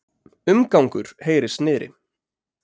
Umgangur heyrist niðri.